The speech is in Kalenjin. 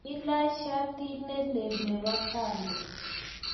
kiilach shati ne lel nebo pambe